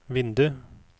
vindu